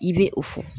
I bɛ o fɔ